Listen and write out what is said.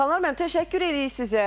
Xanlar müəllim, təşəkkür eləyirik sizə.